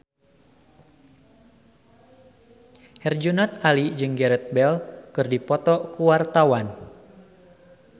Herjunot Ali jeung Gareth Bale keur dipoto ku wartawan